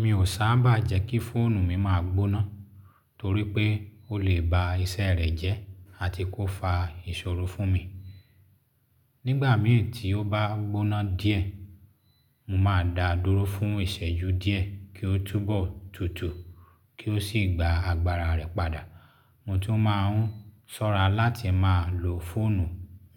Mi ò sábà jẹ́ kí fóònù mi máa gbóná torí pé ó lè ba iṣẹ́ rẹ̀ jẹ́ àti kó fa ìṣòro fún mi. Nígbà míràn tí ó bá gbóná díẹ̀, mo máa da á dúró fún ìsẹ́jú díẹ̀ kí ó túbọ̀ tutù kí ó sì gba agbára rẹ̀ padà. Mo tún máa ń sọ́ra láti máa lo fóònù